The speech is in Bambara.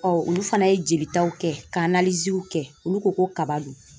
olu fana ye jelitaw kɛ ka kɛ olu ko ko kaba don.